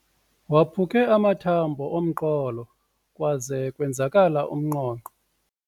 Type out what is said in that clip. Waphuke amathambo omqolo kwaze kwenzakala umnqonqo.